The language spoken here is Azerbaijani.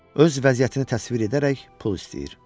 Öz vəziyyətini təsvir edərək pul istəyir.